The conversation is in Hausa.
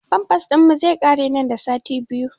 Famfas ɗin mu zai ƙare nan da sati biyu